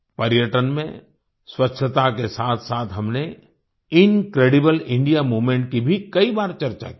पर्यटन में स्वच्छता के साथसाथ हमने इनक्रेडिबल इंडिया मूवमेंट की भी कई बार चर्चा की है